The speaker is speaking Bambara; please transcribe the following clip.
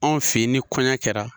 Anw fe yen ni kɔɲɔn kɛra.